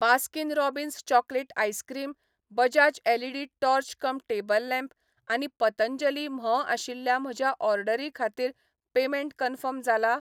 Baskin Robbins chocolate ice cream, Bajaj LED torch cum table lamp आनी पतंजली म्होंव आशिल्ल्या म्हज्या ऑर्डरी खातीर पेमेंट कन्फर्म जाला ?